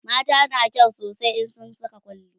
mata na kyau sosai in sun Saka kwalli